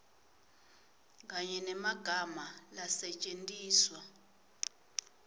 kanye nemagama lasetjentiswa